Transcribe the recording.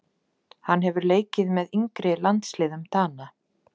Þá kveikti mamma í bréfinu í arninum og faldi pundin